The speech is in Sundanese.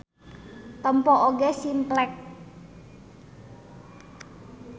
Tempo oge Simplex.